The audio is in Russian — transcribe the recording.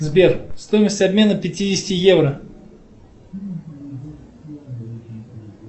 сбер стоимость обмена пятидесяти евро